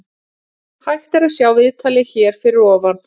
Hægt er að sjá viðtalið hér fyrir ofan.